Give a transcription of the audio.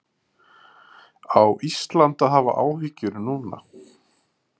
Á Ísland að hafa áhyggjur núna?